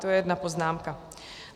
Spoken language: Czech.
To je jedna poznámka.